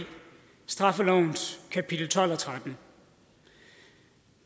straffelovens kapitel tolv og trettende